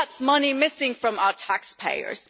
That's money missing from our taxpayers.